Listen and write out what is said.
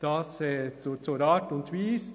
Soweit zur Art und Weise.